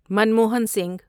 Manmohan Singh